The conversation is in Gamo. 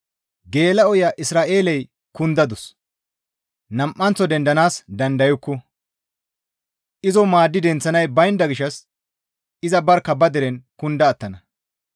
«Geela7oya Isra7eeley kundadus; nam7anththo dendanaas dandayukku; izo maaddi denththanay baynda gishshas iza barkka ba deren kunda attana.»